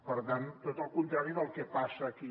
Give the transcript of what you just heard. per tant tot el contrari del que passa aquí